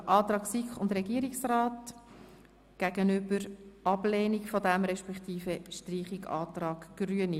Hier steht der Antrag von SiK und Regierung der Ablehnung desselben, respektive dem Antrag der Grünen auf Streichung, gegenüber.